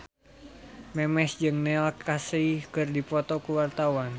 Memes jeung Neil Casey keur dipoto ku wartawan